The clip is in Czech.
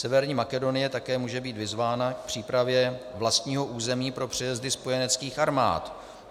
Severní Makedonie také může být vyzvána k přípravě vlastního území pro přejezdy spojeneckých armád.